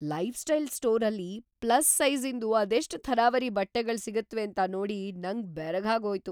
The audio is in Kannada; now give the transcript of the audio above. ಲೈಫ್‌ಸ್ಟೈಲ್ ಸ್ಟೋರಲ್ಲಿ ಪ್ಲಸ್ ಸೈಜಿ಼ಂದು ಅದೆಷ್ಟ್‌ ಥರಾವರಿ ಬಟ್ಟೆಗಳ್ ಸಿಗತ್ವೇಂತ ನೋಡಿ ನಂಗ್ ಬೆರಗಾಗ್ಹೋಯ್ತು.